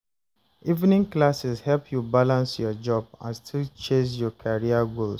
Evening classes help you balance your job and still chase your career goals.